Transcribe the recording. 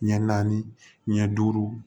Ɲɛ naani ɲɛ duuru